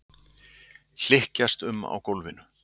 Hlykkjast um á gólfinu.